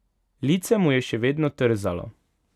Lice mu je še vedno trzalo.